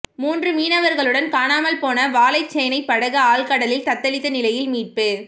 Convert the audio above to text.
மூன்று மீனவர்களுடன் காணாமல் போன வாழைச்சேனை படகு ஆழ்கடலில் தத்தளித்த நிலையில் மீட்பு